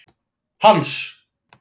Hans